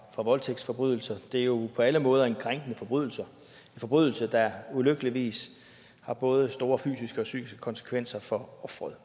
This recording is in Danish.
fra voldtægtsforbrydelser det er jo på alle måder en krænkende forbrydelse en forbrydelse der ulykkeligvis har både store fysiske og psykiske konsekvenser for ofret